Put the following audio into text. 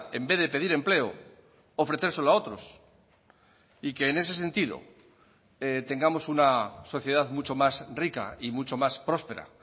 en vez de pedir empleo ofrecérselo a otros y que en ese sentido tengamos una sociedad mucho más rica y mucho más próspera